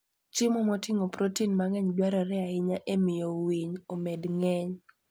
Chiemo moting'o protein mang'eny dwarore ahinya e miyo winy omed ng'eny.